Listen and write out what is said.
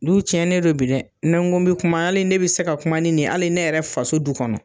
Du cɛnnen don bi dɛ, ni n ko bɛ kuma hali ne bɛ se ka kuma ni ni ye hali ne yɛrɛ faso du kɔnɔ.